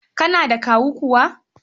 Kana da kawu kuwa?